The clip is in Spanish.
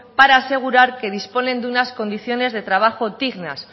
para asegurar que disponen de unas condiciones de trabajo dignas